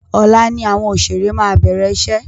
Ọ̀la ni àwọn òṣèré máa bẹ̀rẹ̀ iṣẹ́.